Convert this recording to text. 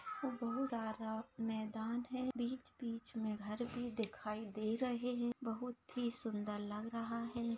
और बहुत ज्यादा मैदान है बीच बीच मे घर भी दिखाई दे रहे है बहुत ही सुंदर लग रहा है।